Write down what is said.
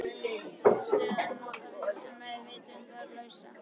Þessa stöðu má nota við meðvitundarlausa.